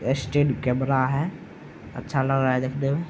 ये stand camera है। अच्छा लग रहा है देखने में।